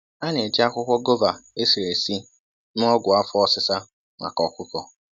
A na-eji akwukwo gova esiri esi mee ọgwụ afọ osisa maka ọkụkọ.